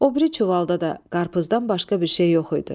O biri çuvalda da qarpızdan başqa bir şey yox idi.